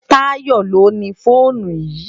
Tayo ló ni fónú yi